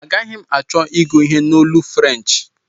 Agaghi m achọ ịgụ ihe a n'olu French